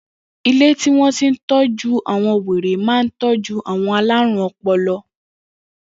Ilé tí wọ́n ti ń se ìtọ́jú àwọn wèrè ma ń tọ́jú àwọn aláruǹ-ọpọlọ.